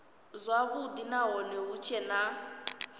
zwavhudi nahone hu tshee na